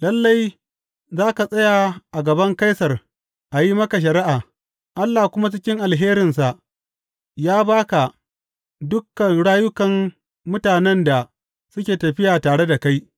Lalle za ka tsaya a gaban Kaisar a yi maka shari’a; Allah kuma cikin alherinsa ya ba ka dukan rayukan mutanen da suke tafiya tare da kai.’